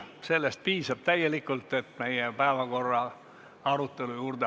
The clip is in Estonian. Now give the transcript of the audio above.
Sellest piisab täielikult, et asuda meie päevakorra arutelu juurde.